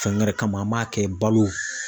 Fɛn gɛrɛ kama an b'a kɛ balo